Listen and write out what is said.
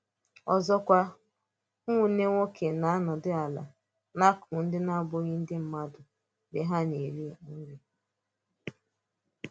Ọ́zọ́kwā, ụmụ̀ nwannē nwokē na-anọ̄dù àlá n’akụkụ̀ ndị na-abụghị̀ ndị mmádū mgbe ha na-èrí̄ nrí̄.